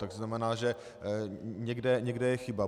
Tak to znamená, že někde je chyba.